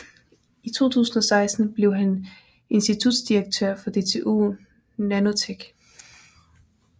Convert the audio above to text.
I 2016 blev han insitutdirektør før DTU Nanotech